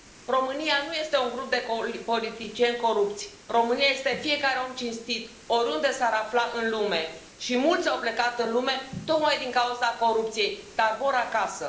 România nu este un grup de politicieni corupți, România este fiecare om cinstit, oriunde s ar afla în lume și mulți au plecat în lume tocmai din cauza corupției, dar vor acasă.